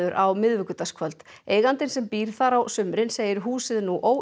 á miðvikudagskvöld eigandinn sem býr þar á sumrin segir húsið nú